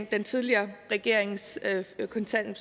den tidligere regerings at